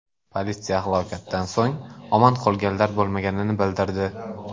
Politsiya halokatdan so‘ng omon qolganlar bo‘lmaganini bildirdi.